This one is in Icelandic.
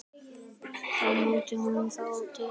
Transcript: Þá mótaði hún þá til.